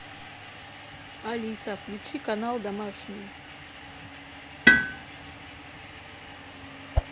алиса включи канал домашний